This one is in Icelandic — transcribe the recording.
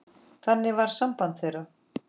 Þannig var samband þeirra.